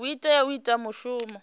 o tea u ita mushumo